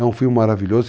É um filme maravilhoso.